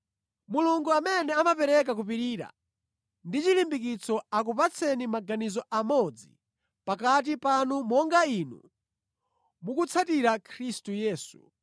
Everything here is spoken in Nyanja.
Mulungu amene amapereka kupirira ndi chilimbikitso akupatseni maganizo amodzi pakati panu monga inu mukutsatira Khristu Yesu,